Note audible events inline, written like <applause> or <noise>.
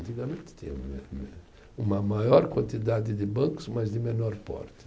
Antigamente tinha <unintelligible> uma maior quantidade de bancos, mas de menor porte.